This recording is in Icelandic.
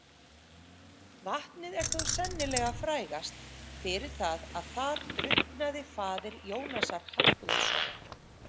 Vatnið er þó sennilega frægast fyrir það að þar drukknaði faðir Jónasar Hallgrímssonar.